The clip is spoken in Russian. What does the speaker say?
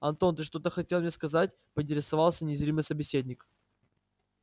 антон ты что-то хотел мне сказать поинтересовался незримый собеседник